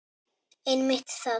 Einmitt það!